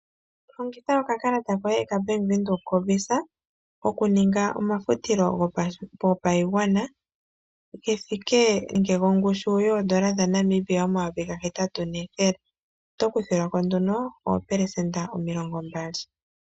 Longitha Oka kalata koye ka Bank Windhoek ko VISA okuninga omafutilo go pashigwana gongushu yoodola dhaNamibia omayovi ga hetatu nethele. Oto kuthilwako oopelesenda omilongo mbali.